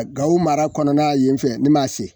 Gao mara kɔnɔna yen fɛ ne m'a sen.